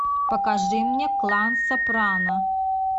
покажи мне клан сопрано